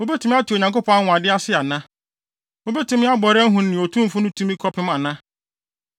“Wubetumi ate Onyankopɔn anwonwade ase ana? Wubetumi abɔre ahu nea Otumfo no tumi kɔpem ana?